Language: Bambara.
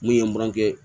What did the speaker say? Mun ye n kɔrɔkɛ